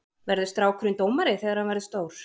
Verður strákurinn dómari þegar hann verður stór?